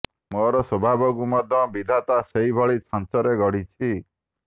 ମୋର ସ୍ୱଭାବକୁ ମଧ୍ୟ ବିଧାତା ସେହି ଭଳି ଛାଞ୍ଚରେ ଗଢ଼ିଚି